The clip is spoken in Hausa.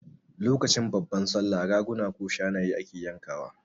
Lokacin babban Sallah Raguna ko Shanaye ake yanka wa